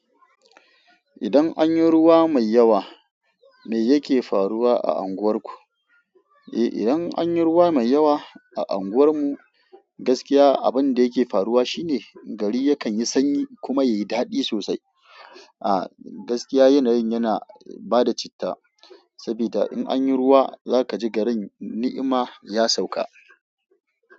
Idan anyi ruwa mai yawa me yake faruwa a anguwar ku? Eh idan anyi ruwa mai yawa a anguwar mu gaskiya abinda yake faruwa shine gari yakan yi sanyi kuma yayi dadi sosai. Ah gaskiya yanayin yana bada citta, sabida in anyi ruwa zaka ji garin ni'ima ya sauka.